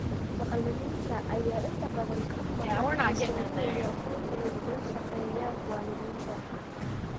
Macalimiinta ayaa inta badan ka maqan kalsoonida iyo aqoonta ay kula shaqeeyaan waalidiinta.